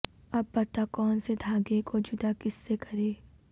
اب بتا کون سے دھاگے کو جدا کس سے کریں